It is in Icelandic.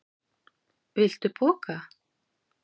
Viltu poka?